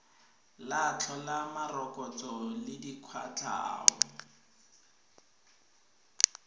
tla tlhola morokotso le dikwatlhao